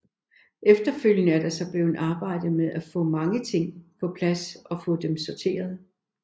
Efterfølgende er der så blevet arbejdet med at få de mange ting på plads og få dem sorteret